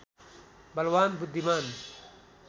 बलवान् बुद्धिमान्